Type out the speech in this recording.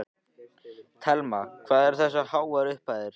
Telma: Hvað eru það háar upphæðir?